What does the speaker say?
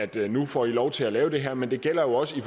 der nu får lov til at lave det her men det gælder også i